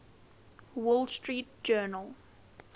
wall street journal